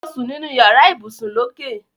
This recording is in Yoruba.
Lọ sún nínú yàrá ibùsùn lókè.